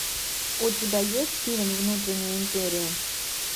у тебя есть фильм внутренняя империя